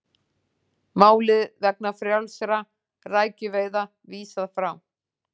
Máli vegna frjálsra rækjuveiða vísað frá